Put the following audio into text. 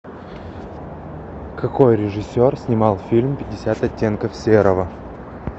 какой режиссер снимал фильм пятьдесят оттенков серого